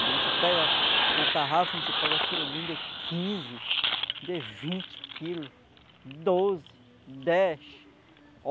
A gente pega na tarrafa, a gente pega surubim de quinze, de vinte quilos, doze, dez.